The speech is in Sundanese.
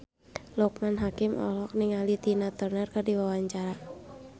Loekman Hakim olohok ningali Tina Turner keur diwawancara